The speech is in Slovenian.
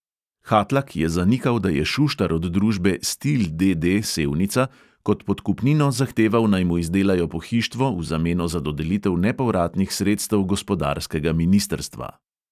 Hatlak je zanikal, da je šuštar od družbe stil, D D, sevnica kot podkupnino zahteval, naj mu izdelajo pohištvo v zameno za dodelitev nepovratnih sredstev gospodarskega ministrstva.